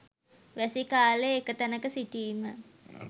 වැසි කාලය එක තැනක සිටීම.